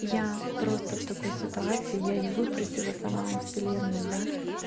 я просто в такой ситуации я её выпросила сама у вселенной да